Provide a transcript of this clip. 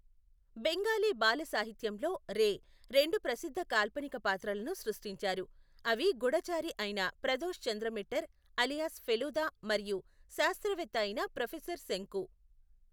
బెంగాలీ బాల సాహిత్యంలో రే రెండు ప్రసిద్ధ కాల్పనిక పాత్రలను సృష్టించారు, అవి గుఢచారి అయిన ప్రదోష్ చంద్ర మిట్టర్ అలియాస్ ఫెలుదా మరియు శాస్త్రవేత్త అయిన ప్రొఫెసర్ శంకు.